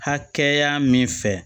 Hakɛya min fɛ